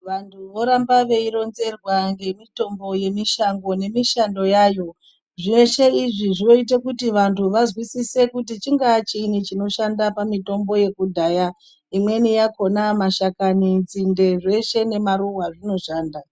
Vantu voramba veironzerwa ngemitombo yemushango nemishando yayo. Zveshe izvi zvinoite kuti vantu vazwisise kuti chingaa chiini chinoshanda pamitombo yekudhaya. Imweni yakhona mashakani, nzinde zveshe nemaruwa zvinoshanda.